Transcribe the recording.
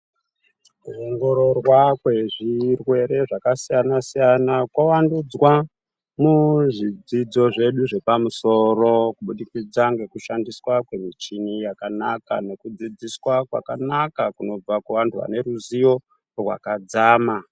Kuongororwa kwezvirwere zvakasiyana siyana kwawandudzwa muzvidzidzo zvedu zvepamusoro kubudikidza ngekushandiswa kwemichini yakanaka nekudzidziswa kwakanaka kunobva kuvanthu vaneruziyo rwakadzama.